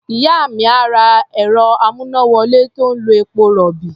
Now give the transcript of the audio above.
Ìyá mi á ra ẹ̀rọ-amúnáwọlé tó ń lo epo-rọ̀bì.